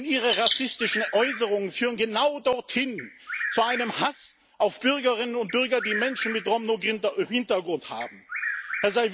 Denn Ihre rassistischen Äußerungen führen genau dorthin zu einem Hass auf Bürgerinnen und Bürger, die Menschen mit Romno Hintergrund sind.